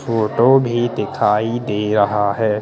Photo भी दिखाई दे रहा हैं।